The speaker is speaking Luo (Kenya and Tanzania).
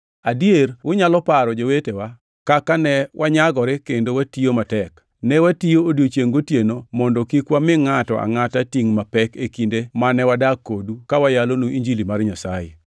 Adier unyalo paro, jowetewa, kaka ne wanyagore kendo watiyo matek, ne watiyo odiechiengʼ gotieno mondo kik wami ngʼato angʼata tingʼ mapek e kinde mane wadak kodu ka wayalonu Injili mar Nyasaye.